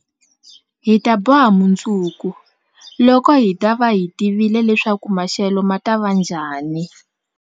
Hi ta boha mundzuku, loko hi ta va hi tivile leswaku maxelo ma ta va njhani?